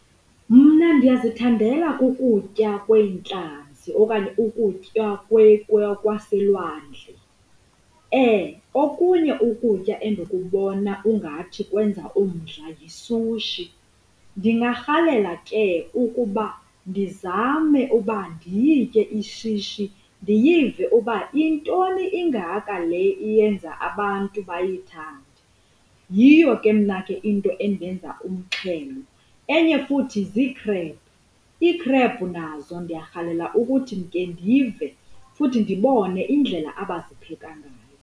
Mna ndiyazithandela kukutya kweentlanzi okanye ukutya kwaselwandle. Okunye ukutya endikubona ungathi kwenza omdla yisushi ndingarhalela ke ukuba ndizame uba ndiyitye ishishi ndiyive uba yintoni ingaka le iyenza abantu bayayithande. Yiyo ke mna ke into endenza umxhelo. Enye futhi ziikhrebhu, iikhrebhu nazo ndiyarhalela ukuthi ndike ndive futhi ndibone indlela abazipheka ngayo.